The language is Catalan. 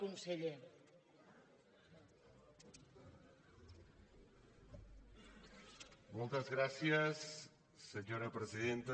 moltes gràcies senyora presidenta